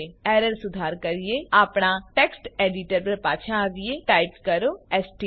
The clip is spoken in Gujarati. એરર સુધાર કરીએ આપણા ટેક્સ્ટ એડીટર પર પાછા આવીએ ટાઈપ કરો એસટીડી